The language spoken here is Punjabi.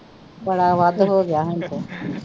ਬੜਾ ਵੱਧ ਹੋਗਿਆ ਹੁਣ ਤੇ